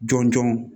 Jɔn jɔn